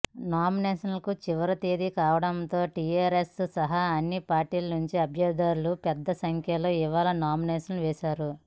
నామినేషన్లకు చివరి తేదీ కావడంతో టీఆర్ఎస్ సహా అన్ని పార్టీల నుంచి అభ్యర్థులు పెద్ద సంఖ్యలో ఇవాళ నామినేషన్ వేశారు